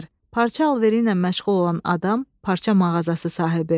parça alveri ilə məşğul olan adam, parça mağazası sahibi.